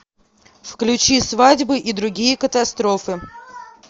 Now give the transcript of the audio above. включи свадьбы и другие катастрофы